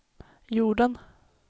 jorden